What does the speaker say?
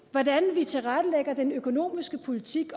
hvordan vi tilrettelægger den økonomiske politik